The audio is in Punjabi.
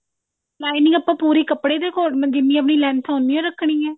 lining ਆਪਾਂ ਪੂਰੀ ਕਪੜੇ ਦੇ according ਜਿੰਨੀ ਆਪਣੀ length ਆ ਓਨੀ ਓ ਰੱਖਣੀ ਆ